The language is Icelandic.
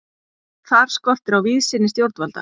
Þar skortir á víðsýni stjórnvalda.